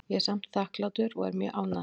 Ég er samt þakklátur og er mjög ánægður.